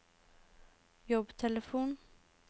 jobbtelefon